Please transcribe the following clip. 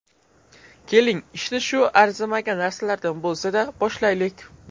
Keling, ishni shu arzimagan narsalardan bo‘lsa-da, boshlaylik.